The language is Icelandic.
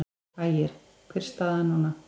Ægir: Hver er staðan núna?